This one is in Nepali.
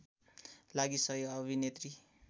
लागि सहि अभिनेत्री